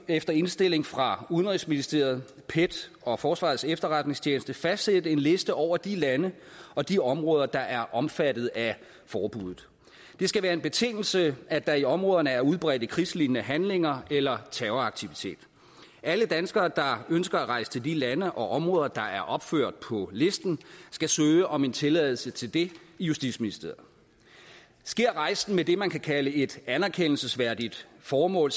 efter indstilling fra udenrigsministeriet pet og forsvarets efterretningstjeneste fastsætte en liste over de lande og de områder der er omfattet af forbuddet det skal være en betingelse at der i områderne er udbredte krigslignende handlinger eller terroraktivitet alle danskere der ønsker at rejse til de lande og områder der er opført på listen skal søge om tilladelse til det i justitsministeriet sker rejsen med det man kan kalde et anerkendelsesværdigt formål